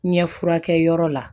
Ɲɛ furakɛ yɔrɔ la